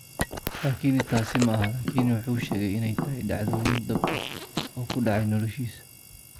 Laakiin taasi maaha, laakiin wuxuu sheegay inay tahay dhacdooyin dhab ah oo ku dhacay noloshiisa.